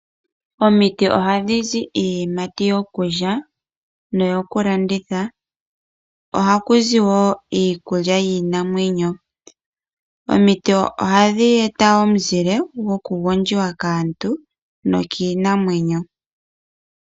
Omiti ohadhi zi iiyimati yokulya noyo ku landitha, ohaku zi wo iikulya yiinamwenyo. Omiti ohadhi eta omuzile goku gondjiwa kaantu nokiinamwenyo.